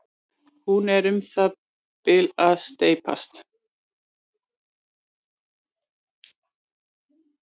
hún er um það bil að steypast